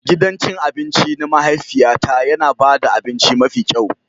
Gidan cin abinci na mahaifiyata yana ba da abinci mafi kyau.